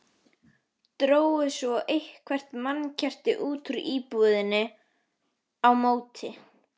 Drógu svo eitthvert mannkerti út úr íbúðinni á móti.